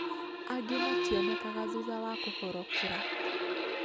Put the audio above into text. Angĩ mationekaga thutha wa kũhorokera